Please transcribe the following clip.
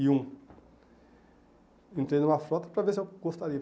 e um. Entrei numa frota para ver se eu gostaria.